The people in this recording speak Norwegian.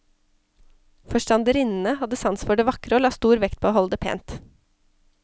Forstanderinnene hadde sans for det vakre og la stor vekt på å holde det pent.